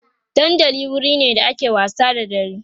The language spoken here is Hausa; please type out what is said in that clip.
dandali wurine da ake wasa da dare